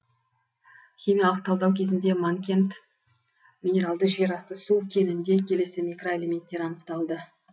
химиялық талдау кезінде манкент минералды жер асты су кенінде келесі микроэлементтер анықталды